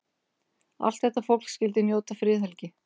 Allt þetta fólk skyldi njóta friðhelgi.